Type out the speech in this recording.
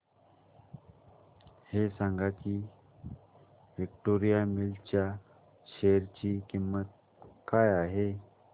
हे सांगा की विक्टोरिया मिल्स च्या शेअर ची किंमत काय आहे